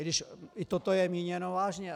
i když i toto je míněno vážně.